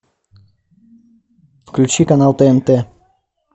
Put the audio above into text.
включи канал тнт